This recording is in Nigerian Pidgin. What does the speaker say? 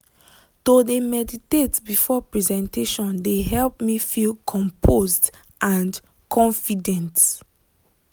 to de meditate before presentation de help me feel composed and confident.